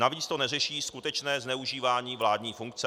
Navíc to neřeší skutečné zneužívání vládní funkce.